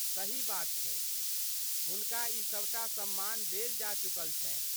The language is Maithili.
सही बात छै, हुनका ई सभ टा सम्मान देल जा चुकल छन्हि।